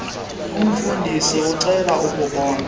kumfundisi ecela ukumbona